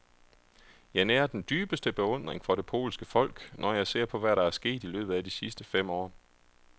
Jeg nærer den dybeste beundring for det polske folk, når jeg ser på, hvad der er sket i løbet af de sidste fem år.